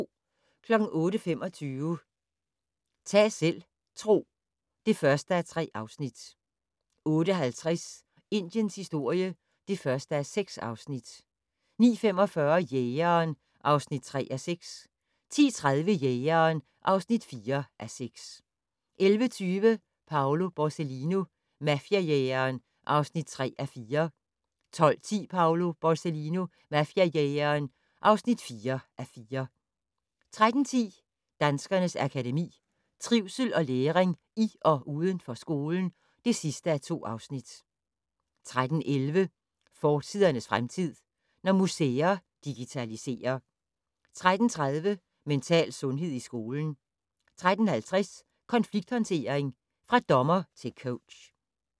08:25: Ta' selv tro (1:3) 08:50: Indiens historie (1:6) 09:45: Jægeren (3:6) 10:30: Jægeren (4:6) 11:20: Paolo Borsellino - mafiajægeren (3:4) 12:10: Paolo Borsellino - mafiajægeren (4:4) 13:10: Danskernes Akademi: Trivsel og læring i og uden for skolen (2:2) 13:11: Fortidernes fremtid: Når museer digitaliserer 13:30: Mental sundhed i skolen 13:50: Konflikthåndtering - fra dommer til coach